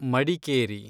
Madikeri